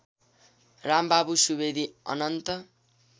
Rambabu Subedi Anant